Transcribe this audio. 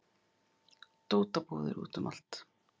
Dótabúðir úti um allt